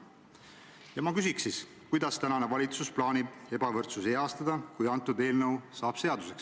Ja ma küsin: kuidas plaanib tänane valitsus ebavõrdsuse heastada, kui see eelnõu seaduseks saab?